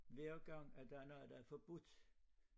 Hver gang et der er noget der er forbudt